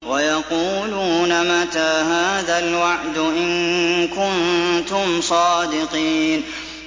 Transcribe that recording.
وَيَقُولُونَ مَتَىٰ هَٰذَا الْوَعْدُ إِن كُنتُمْ صَادِقِينَ